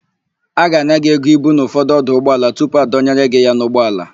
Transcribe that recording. A ga-ana gị ego ibu n'ụfọdụ ọdụ ụgbọala tupu adọnyere gị ya n'ụgbọala.